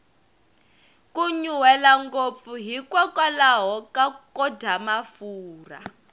ku nyuhela ngopfu hi kokwalaho ko dya mafurha